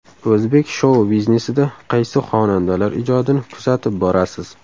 O‘zbek shou-biznesida qaysi xonandalar ijodini kuzatib borasiz?